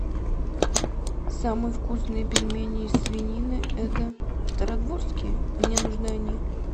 самые вкусные пельмени из свинины это стародворские мне нужны они